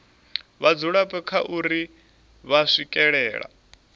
vhadzulapo kha uri vha swikelela